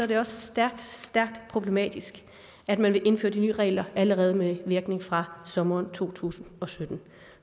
det også stærkt stærkt problematisk at man vil indføre de nye regler allerede med virkning fra sommeren to tusind og sytten